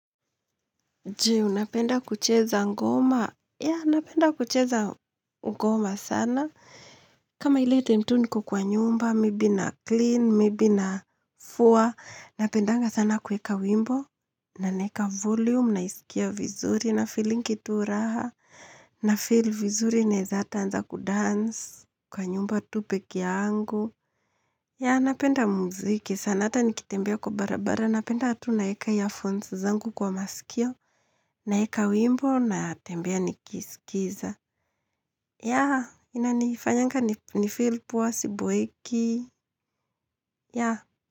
Je, unapenda kucheza ngoma. Ya, napenda kucheza ngoma sana. Kama ili time tu niko kwa nyumba, maybe naclean, maybe nafua. Napendanga sana kuweka wimbo. Na naeka volume, naisikia vizuri, nafeelingi tu raha. Nafeel vizuri naeza hata anza kudance Kwa nyumba tu peke yangu. Ya, napenda muziki. Sana ata nikitembea kwa barabara. Napenda tu naeka earphones zangu kwa masikio. Naeka wimbo natembea nikisikiza. Ya, inanifanyanga nifeel poa siboeki. Ya.